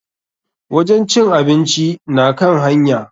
Wajen cin abinci na kan hanya.